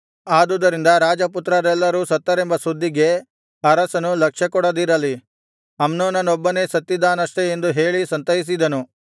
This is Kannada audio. ಆದುದರಿಂದ ರಾಜಪುತ್ರರೆಲ್ಲರೂ ಸತ್ತರೆಂಬ ಸುದ್ದಿಗೆ ಅರಸನು ಲಕ್ಷ್ಯಕೊಡದಿರಲಿ ಅಮ್ನೋನನೊಬ್ಬನೇ ಸತ್ತಿದ್ದಾನಷ್ಟೆ ಎಂದು ಹೇಳಿ ಸಂತೈಸಿದನು